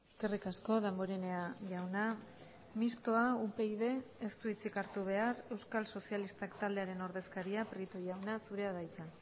eskerrik asko damborenea jauna mistoa upyd ez du hitzik hartu behar euskal sozialistak taldearen ordezkaria prieto jauna zurea da hitza